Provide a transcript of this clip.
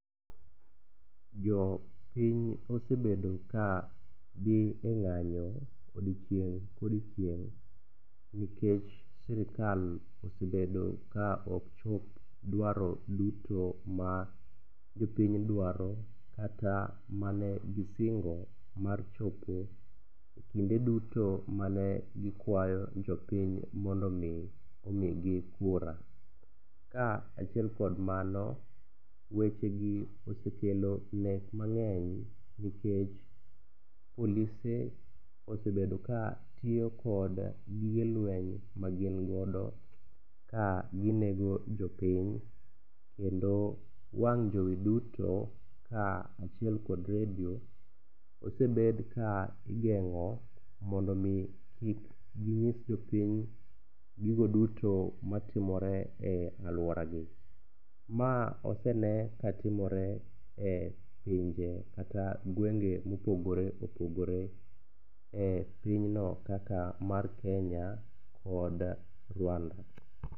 Jo piny osebedo kadhi e ng'anyo odiechieng' ka odiechieng', nikech sirkal osebedo kaok chop duaro duto ma jopiny duaro kata mane gisingo mar chopo ekinde duto mane gikuayo jopiny mondo mi omigi kura. Kaachiel kod mano, weche gi osekelo nek mang'eny nikech polise osebedo ka tiyo gi gige lweny magin godo ka ginego jopiny kendo wang' jowi duto kaachiel kod redio osebed ka igeng'o mondo mi kik ginyis jopiny gigo duto matimore e aluoragi. Ma osene katimore epinje kata gwenge mopogore opogore e pinyno kaka mar Kenya kod Rwanda.